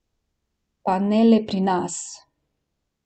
Pa ne le pri nas.